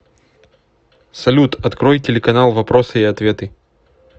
салют открой телеканал вопросы и ответы